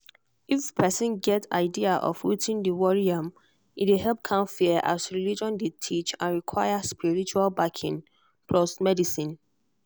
if person get idea of wetin dey worry am e dey help calm fear as religion dey teach and e require spiritual backing plus medicine.